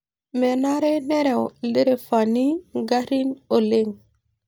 Menare nereu ildirifani ingarrin oleng'